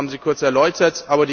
Das haben Sie kurz erläutert.